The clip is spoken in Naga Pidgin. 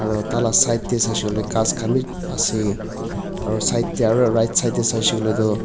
aru tai la side tey saishe kuile ghas khan wi ase aru side tey aru rightside tey saishe kuile tu.